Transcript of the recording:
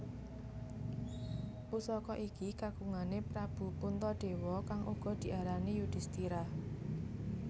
Pusaka iki kagungane Prabu Puntadewa kang uga diarani Yudistira